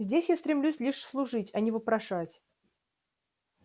здесь я стремлюсь лишь служить а не вопрошать